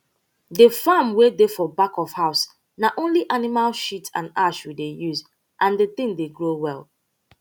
the farm wey dey for back of house na only animal shit and ash we dey use and the thing dey grow well